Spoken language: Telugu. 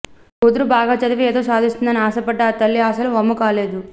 కూతురు బాగా చదివి ఏదో సాధిస్తుందని ఆశపడ్డ ఆ తల్లి ఆశలు వమ్ము కాలేదు